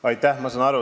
Aitäh!